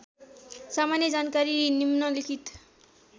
सामान्य जानकारी निम्नलिखित